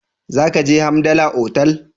Za ki je Hamdala otal?